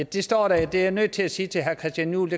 det står der det er jeg nødt til at sige til herre christian juhl